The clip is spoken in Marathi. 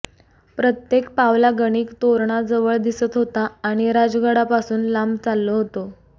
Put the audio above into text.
प्रत्येक पावलागणिक तोरणा जवळ दिसत होता आणि राजगडापासून लांब चाललो होतो